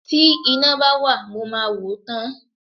Tí iná bá wà mo máa wò ó tán.